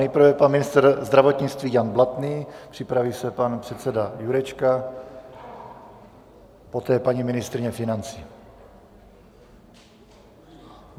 Nejprve pan ministr zdravotnictví Jan Blatný, připraví se pan předseda Jurečka, poté paní ministryně financí.